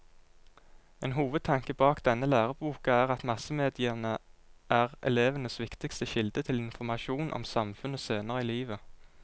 En hovedtanke bak denne læreboka er at massemediene er elevenes viktigste kilde til informasjon om samfunnet senere i livet.